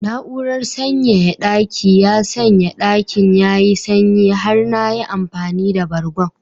Na'urar sanyaya daki ya sanya dakin yayi sanyi har na yi amfani da bargon